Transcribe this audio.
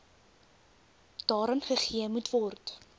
daaraan gegee moetword